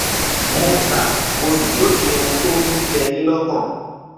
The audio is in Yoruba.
mo kà mo sì lóye ohun tó ń jẹ yín lọkàn